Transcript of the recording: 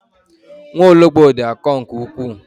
Nwaologbo dị akọ nke ukwuu.